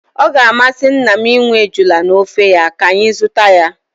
Ọ ga-amasị nna m inwe ejula n'ofe ya, ka anyị zụta ya